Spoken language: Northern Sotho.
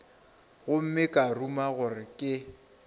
gomme ka ruma gore ke